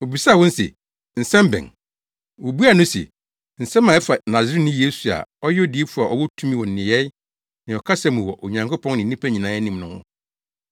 Obisaa wɔn se, “Nsɛm bɛn?” Wobuaa no se, “Nsɛm a ɛfa Nasareni Yesu a ɔyɛ odiyifo a ɔwɔ tumi wɔ nneyɛe ne ɔkasa mu wɔ Onyankopɔn ne nnipa nyinaa anim no ho,